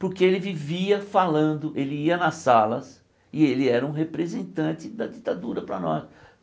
Porque ele vivia falando, ele ia nas salas e ele era um representante da ditadura para nós.